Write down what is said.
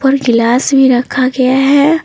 ऊपर गिलास भी रखा गया है।